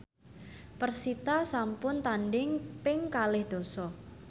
persita sampun tandhing ping kalih dasa